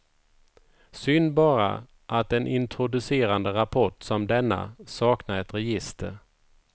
Synd bara, att en introducerande rapport som denna saknar ett register.